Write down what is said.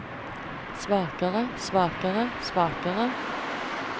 svakere svakere svakere